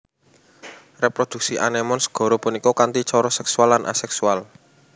Reproduksi anémon segara punika kanthi cara sèksual lan asèksual